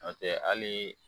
Nɔtɛ hali